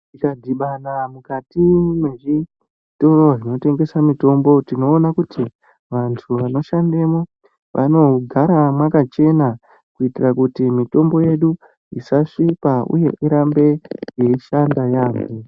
Tikadhibana mukati mwezvitoro zvinotengesa mitombo, tinoona kuti vantu vandoshandemwo vanogara mwakachena kuitira kuti mitombo yedu isasvipa uye irambe yeishanda yaambo.